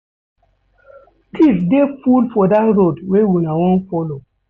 Tiffs dey full for dat road wey una wan folo.